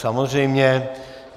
Samozřejmě.